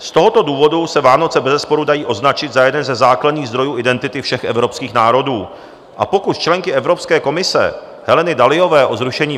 Z tohoto důvodu se Vánoce bezesporu dají označit za jeden ze základních zdrojů identity všech evropských národů a pokus členky Evropské komise Heleny Dalliové o zrušení